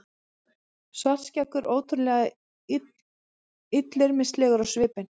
Svartskeggur ótrúlega illyrmislegur á svipinn.